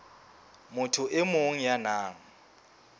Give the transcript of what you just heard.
motho e mong ya nang